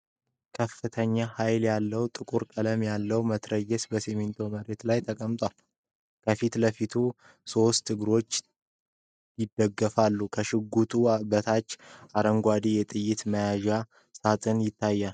ከፍተኛ ኃይል ያለው፣ ጥቁር ቀለም ያለው መትረየስ በሲሚንቶ መሬት ላይ ተቀምጧል። ከፊት ለፊቱ በሦስት እግሮች ይደገፋል። ከሽጉጡ በታች አረንጓዴ የጥይት መያዣ ሳጥን ይታያል።